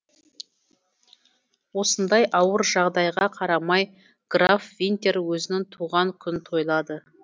осындай ауыр жағдайға қарамай граф винтер өзінін туған күнін тойлады